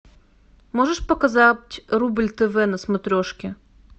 можешь показать рубль тв на смотрешке